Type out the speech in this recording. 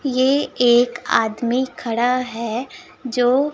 ये एक आदमी खड़ा है जो--